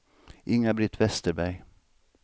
Inga-Britt Westerberg